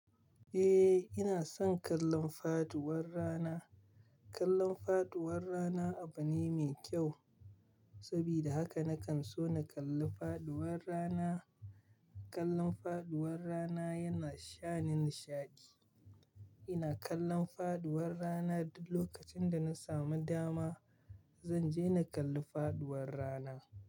Eh, ina son kallon faduwar rana. Kallon faduwar rana abu ne mai kyau, sabida haka nakan so na kalla faduwar rana. Kallon faduwar rana yana shani nishadi. Ina kallon faduwar rana duk lokacin da na samu dama. Zanje na kalli faduwar rana.